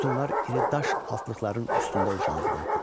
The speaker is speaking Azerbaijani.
Sütunlar iri daş altlıqların üstündə ucaldılırdı.